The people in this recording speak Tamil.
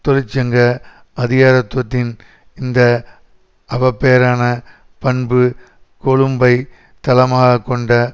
தொழிற்சங்க அதிகாரத்துவத்தின் இந்த அவப்பேறான பண்பு கொழும்பை தளமாக கொண்ட